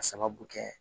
A sababu kɛ